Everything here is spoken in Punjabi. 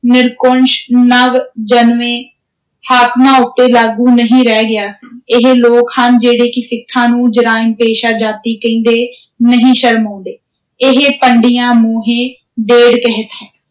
ਨਿਰੰਕੁਸ਼, ਨਵ-ਜਨਮੇ ਹਾਕਮਾਂ ਉੱਤੇ ਲਾਗੂ ਨਹੀਂ ਰਹਿ ਗਿਆ ਸੀ, ਇਹ ਲੋਕ ਹਨ ਜਿਹੜੇ ਕਿ ਸਿੱਖਾਂ ਨੂੰ ਜਰਾਇਮ-ਪੇਸ਼ਾ ਜਾਤੀ ਕਹਿੰਦੇ ਨਹੀਂ ਸ਼ਰਮਾਉਂਦੇ, ਇਹ ਪੰਡੀਆ ਮੋਹੇ ਢੇਡ ਕਹਿਤ ਹੈ।